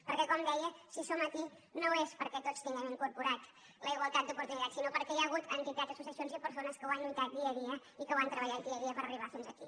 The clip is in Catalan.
perquè com deia si som aquí no és perquè tots tinguem incorporada la igualtat d’oportunitats sinó perquè hi ha hagut entitats associacions i persones que hi han lluitat dia a dia i que han treballat dia a dia per arribar fins aquí